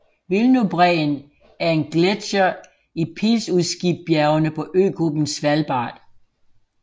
Wilnobreen er en gletsjer i Pilsudskibjergene på øgruppen Svalbard